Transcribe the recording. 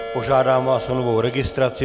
Požádám vás o novou registraci.